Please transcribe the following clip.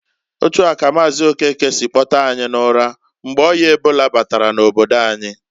Otua ka Maazi Okeke si kpotee anyi n'ụra, mgbe o̜ya ebola batara n'obodo anyi.